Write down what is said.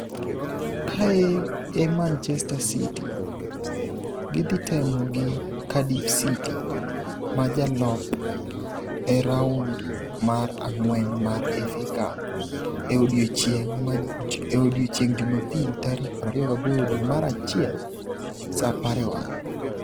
Kae e Manchester City, gidhi temo gi Cardiff City ma jalop e raun mar ang'wen mar FA Cup e odiechieng' Jumapil tarik 28 dwe mar achiel (16:00 GMT).